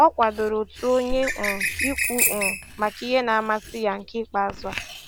Ọ kwadoro otu onye um ikwu um maka ihe na amasị ya nke ikpeazụ a